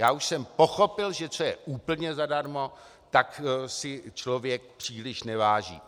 Já už jsem pochopil, že co je úplně zadarmo, toho si člověk příliš neváží.